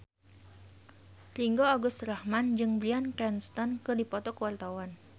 Ringgo Agus Rahman jeung Bryan Cranston keur dipoto ku wartawan